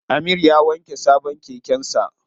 Amir ya wanke sabon keken sa.